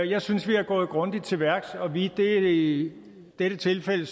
jeg synes vi er gået grundigt til værks og vi er i dette tilfælde